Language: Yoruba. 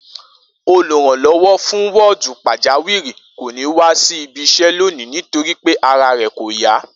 Olùránló̩wó̩ fún wó̩ò̩dù pàjáwìrì kò ní wá sí ibi is̩é̩ lónìí nítorí pé ara rè̩ kò yá